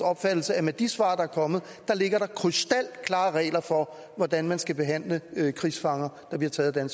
opfattelse at med de svar der er kommet ligger der krystalklare regler for hvordan man skal behandle krigsfanger der bliver taget af